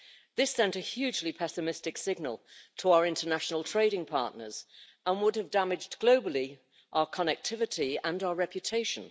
This sent a hugely pessimistic signal to our international trading partners and would have globally damaged our connectivity and our reputation.